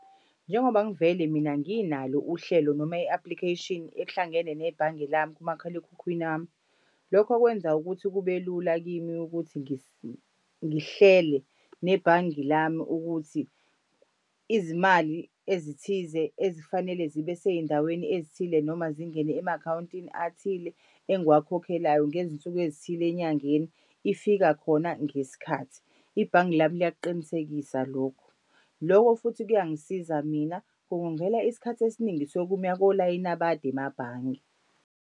Njengoba ngivele mina nginalo uhlelo noma i-application ehlangene nebhange lami kumakhalekhukhwini wami. Lokho kwenza ukuthi kube lula kimi ukuthi ngihlele nebhange lami ukuthi izimali ezithize ezifanele zibe sey'ndaweni ezithile noma zingene ema-akhawuntini athile engiwakhokhelwayo ngezinsuku ezithile enyangeni, ifika khona ngesikhathi. Ibhange lami liyakuqinisekisa lokho. Loko futhi kuyangisiza mina kungongela isikhathi esiningi sokuma kolayini abade emabhange.